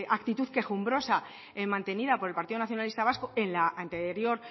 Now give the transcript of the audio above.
actitud quejumbrosa mantenida por el partido nacionalista vasco en la anterior